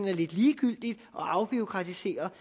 er lidt ligegyldigt at afbureaukratisere